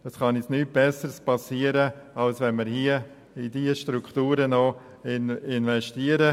Es kann uns nichts Besseres geschehen, als in die Verbesserung dieser Strukturen zu investieren.